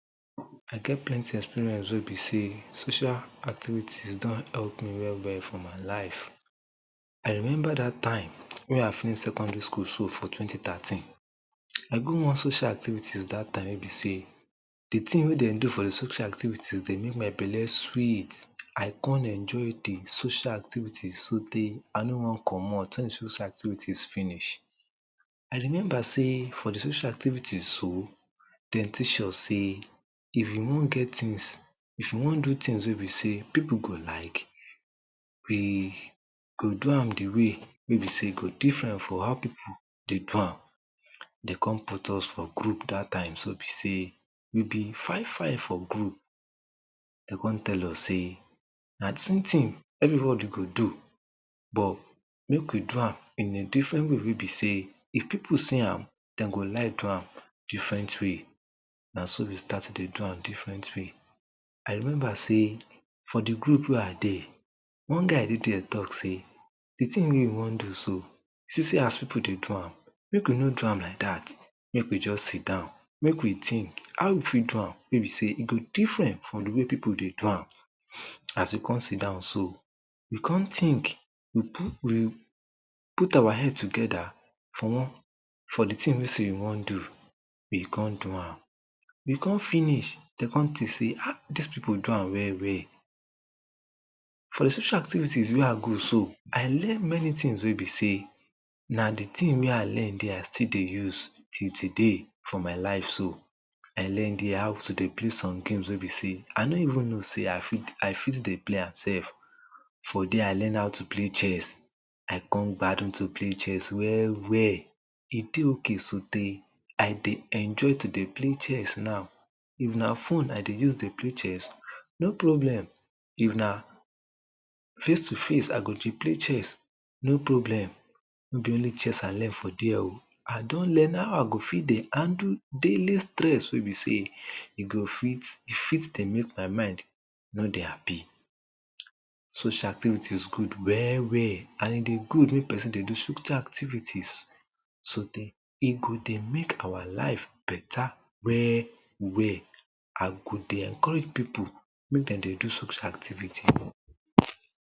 I get plenty experience wey be sey social activities don help me well well for my life I remember dat time wey I finish secondary school so for twenty thirteen I go one social activities dat time wey be sey de tin wey dem dey do for de social activities dey make my belle sweet I come enjoy de social activities so tey wen de social activites finish, I no want comot. I remember sey for de social activites so, dem teach us sey if you want get tins, if you want do tins wey be sey people go like, really you go do am de way wey be sey e go different from how people dey do am Dey come put us for group for dat time so be sey we be five five for group dey come tell us sey na two tin everybody go do but make we do am in a different way wey be sey if people see am, dem go like do am different way na so we start to dey do am different way I remember sey for de group wey I dey one guy dey dey talk sey de tin wey we want do so see as people dey do am, make we no do am like dat. Make we just siddown make we tink how we fit do am wey be sey e go different from how people dey do am. As we come siddown so we come tink, we put we put our head togeda for for dey tin wey sey we want do we come do am we come finish, dey come tink sey dis people do am well well. For de social activities wey I go so, I learn many tins wey be sey na de tin wey I learn dey I still dey use for my life so I learn dey how to dey play some games wey be sey I no even know sey I fit dey play am sef. For dey, I learn how to play cheese I come value to play chess well well E dey okay so tey I dey enjoy to dey play chess now If na phone I dey use dey play chess, no problem; if na face to face I go dey play chess no problem No be only chess I learn for dey -o. I don learn how I go fit dey handle daily stress wey be sey e go fit dey make my mind no dey happy. Social activities dey go well well and e dey good make person dey do social activities. so tey e go dey make our life beta well well I go dey encourage people make dem dey do social activities.